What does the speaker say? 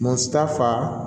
Musa fa